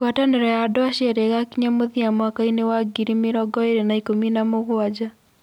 Ngwatanĩro ya andũ acio erĩ ĩgakinya mũthia mwaka wa mwakaĩnĩ wa ngiri mĩrongo ĩĩrĩ na ikumi na mũgwanja.